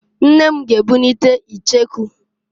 Nne m g'ebunite icheku.